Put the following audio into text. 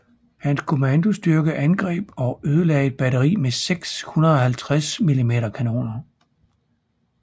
Hans kommandostyrke angreb og ødelagde et batteri med seks 150 mm kanoner